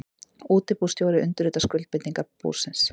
Útibússtjóri undirritar skuldbindingar búsins.